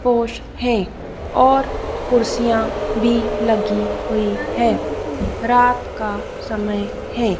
पोस हैं और कुर्सियां भी लगी हुई है रात का समय है।